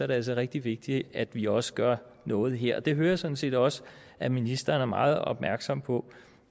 det altså rigtig vigtigt at vi også gør noget her og det hører jeg sådan set også at ministeren er meget opmærksom på